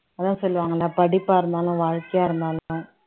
அதான் சொல்லுவாங்கல்ல படிப்பா இருந்தாலும் வாழ்க்கையா இருந்தாலும்